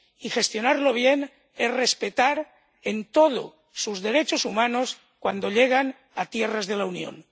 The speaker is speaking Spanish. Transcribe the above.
Y gestionarlo bien es respetar en todo sus derechos humanos cuando llegan a tierras de la Unión.